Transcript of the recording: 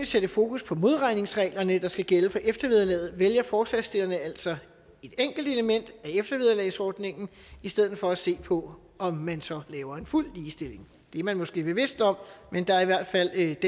sætte fokus på modregningsreglerne der skal gælde for eftervederlaget vælger forslagsstillerne altså et enkelt element af eftervederlagsordningen i stedet for at se på om man så laver en fuld ligestilling det er man måske bevidst om men der er i hvert fald